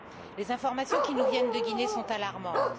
Les informations qui nous viennent de Guinée sont alarmantes.